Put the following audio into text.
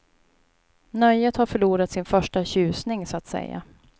Nöjet har förlorat sin första tjusning så att säga.